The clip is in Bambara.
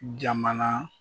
Jamana